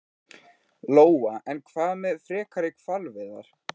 Lóa: En hvað með frekari hvalveiðar?